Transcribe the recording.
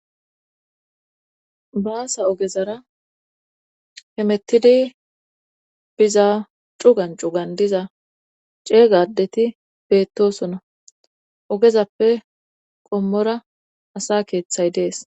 baasa ogezara hemettidi biza cugan cugan diza ceegadeti peettosona ogezappe qommora asa keeththay dees